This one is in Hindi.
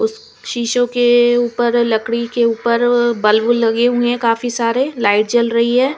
उस शीशो के ऊपर लकड़ी के ऊपर बल्ब लगे हुए हैं काफी सारे लाइट जल रही है।